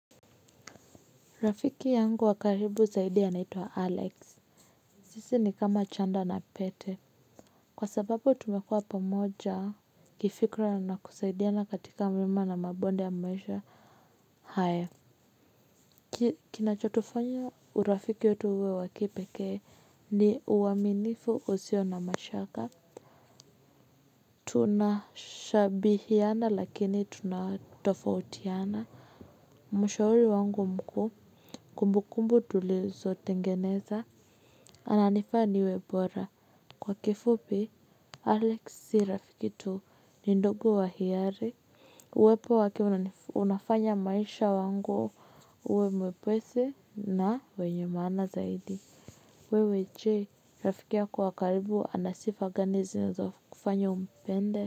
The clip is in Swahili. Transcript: Rafiki yangu wa karibu zaidi anaitwa wa alex sisi ni kama chanda na pete kwa sababu tumekua pamoja kifikra na kusaidia na katika mlima na mabonde ya maisha haya kinachotufanya urafiki wetu uwe wakipekee ni uaminifu usio na mashaka tunashabihiana lakini tunatofautiana mshauri wangu mkuu kumbu kumbu tulizo tengeneza. Ananifaniwe bora. Kwa kifupi Alex si rafiki tu. Ni ndugu wa hiari. Uwepo wake unafanya maisha wangu uwe mwepwesi na wenye maana zaidi. Wewe je. Rafiki yako wa karibu anasifa gani zinazokufanya umpende.